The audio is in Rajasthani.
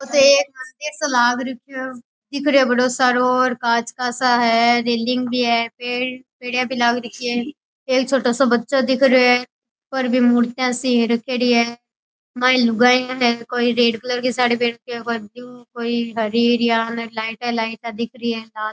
ओ तो एक मंदिर सी लाग राख्यो है दिख रयो बड़ो सारो और कांच सा है रेलिंग भी है पेडियां भी लाग रखी है एक छोटो सो बच्चो दिख रेयो है पर बीम मूर्तियां सी रखेड़ी है माईने लुगायां है कोई रेड कलर की साड़ी पहन राखी है कोई ब्लू कोई हरी र यान लाइटां लाइटां दिख रही है।